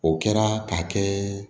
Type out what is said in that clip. O kɛra ka kɛ